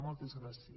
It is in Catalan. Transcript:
moltes gràcies